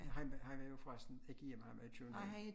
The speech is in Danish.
Han han er jo forresten ikke hjemme han er i København